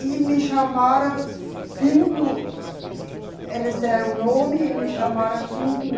E me chamaram fim do, eh, eles deram o nome e me chamaram fim de